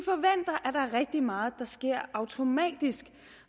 rigtig meget der sker automatisk